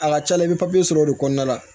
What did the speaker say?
A ka ca la i bɛ sɔrɔ o de kɔnɔna la